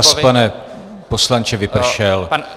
Čas, pane poslanče, vypršel.